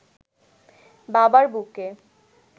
বাবার বুকে